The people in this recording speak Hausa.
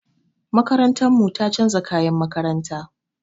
Makarantar mu ta chanza kayan makaranta.